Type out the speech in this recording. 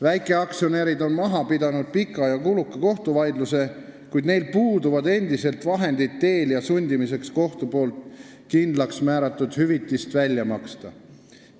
Väikeaktsionärid on maha pidanud pika ja kuluka kohtuvaidluse, kuid neil puuduvad endiselt vahendid Telia sundimiseks kohtu kindlaksmääratud hüvitist välja maksma.